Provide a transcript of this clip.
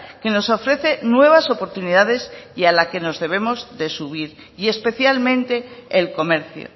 que nos ofrece nuevas oportunidades y a la que nos debemos de subir y especialmente el comercio